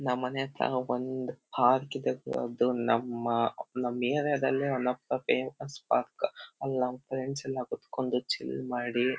ನಮ್ ಮನೆ ಹತ್ರ ಒಂದ್ ಪಾರ್ಕ್ ಇದೆ ಅದು ನಮ್ಮ ಅಪ್ ಏರಿಯಾ ದಲ್ಲಿ one of the famous park ಅಲ್ ನನ್ ಫ್ರೆಂಡ್ಸ್ ಕುತ್ಕೊಂಡಿ ಚಿಲ್ ಮಾಡಿ--